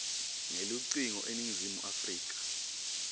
ngelucingo eningizimu afrika